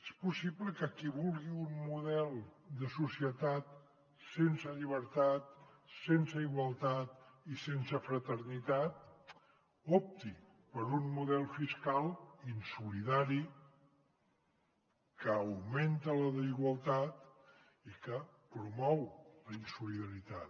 és possible que qui vulgui un model de societat sense llibertat sense igualtat i sense fraternitat opti per un model fiscal insolidari que augmenta la desigualtat i que promou la insolidaritat